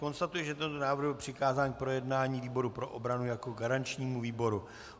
Konstatuji, že tento návrh byl přikázán k projednání výboru pro obranu jako garančnímu výboru.